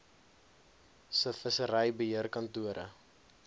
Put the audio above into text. se vissery beheerkantore